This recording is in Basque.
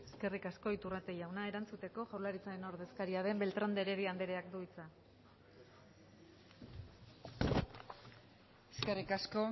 eskerrik asko iturrate jauna erantzuteko jaurlaritzaren ordezkaria den beltrán de heredia andereak du hitza eskerrik asko